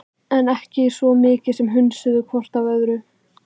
En þau ekki svo mikið sem hnusuðu hvort af öðru.